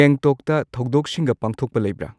ꯒꯦꯡꯇꯣꯛꯇ ꯊꯧꯗꯣꯛꯁꯤꯡꯒ ꯄꯥꯡꯊꯣꯛꯄ ꯂꯩꯕ꯭ꯔꯥ